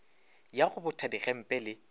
ya go botha digempe le